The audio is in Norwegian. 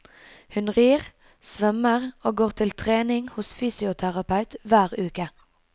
Hun rir, svømmer og går til trening hos fysioterapeut hver uke.